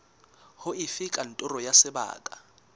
ho efe kantoro ya sebaka